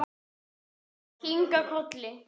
Hin tvö kinka kolli.